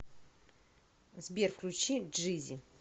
сбер включи джизи